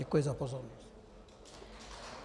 Děkuji za pozornost.